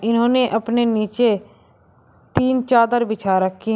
उन्होंने अपने नीचे तीन चादर बिछा रखी हैं।